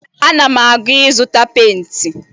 Ana m aga ịzụta penti